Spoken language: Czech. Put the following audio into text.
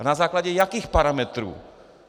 A na základě jakých parametrů?